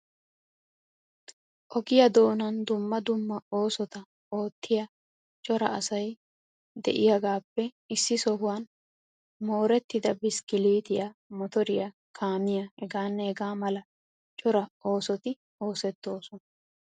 Ogiya doonan dumma dumma oosota oottiya cora asay de'iyagaappe issi sohuwan moorettida biskkiliitiy, motoriya, kaamiya hegaa mala cora oosoti oosettoosona.